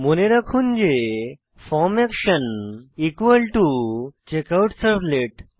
মনে রাখুন যে ফর্ম অ্যাকশন চেকআউটসার্ভলেট